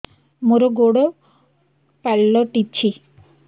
ମୋର ଗୋଡ଼ ପାଲଟିଛି